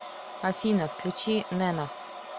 афина включи нэна